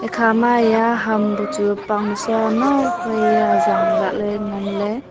ekha ma eya ham bu chu pangnusa nok wai e zang lah le ngan le.